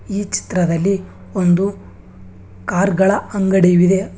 ಈ ಚಿತ್ರದಲ್ಲಿ ಒಂದು ಕಾರ್ ಗಳ ಅಂಗಡಿವಿದೆ.